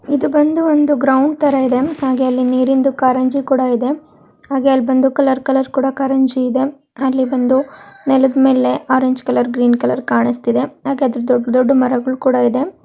ಇದು ಬಂದು ಒಂದು ಗ್ರೌಂಡ್ ತರ ಇದೆ ಹಾಗೆ ಅಲ್ಲಿ ನೀರಿಂದು ಕಾರಂಜಿ ಕೂಡ ಇದೆ ಹಗೇ ಅಲ್ ಬಂದು ಕಲರ್ ಕಲರ್ ಕೂಡ ಕಾರೆಂಜಿ ಇದೆ ಅಲ್ ಬಂದು ನೆಲದ್ಮೇಲೆ ಆರೆಂಜ್ ಕಲರ್ ಗ್ರೀನ್ ಕಲರ್ ಕಾಣಿಸ್ತಿದೆ ಹಾಗೆ ದೊಡ್ಡ ದೊಡ್ಡ ಮರಗಳು ಕೂಡ ಇದೆ --